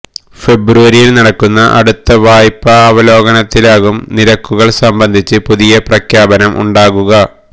ഫെബ്രുവരിയില് നടക്കുന്ന അടുത്ത വായ്പ അവലോകനത്തിലാകും നിരക്കുകള് സംബന്ധിച്ച് പുതിയ പ്രഖ്യാപനം ഉണ്ടാവുക